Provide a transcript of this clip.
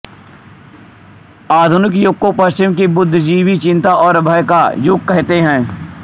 आधुनिक युग को पश्चिम के बुद्धिजीवी चिंता और भय का युग कहते हैं